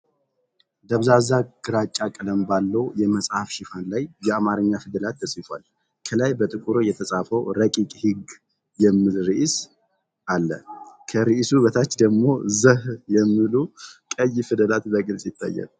ደብዛዛ ግራጫ ቀለም ባለው የመጽሐፍ ሽፋን ላይ የአማርኛ ፊደላት ተጽፈዋል። ከላይ በጥቁር የተጻፈው “ረቂቅ ሕግ” የሚል ርዕስ አለ። ከርዕሱ በታች ደግሞ “ዘህ” የሚሉ ቀይ ፊደላት በግልጽ ይታያሉ።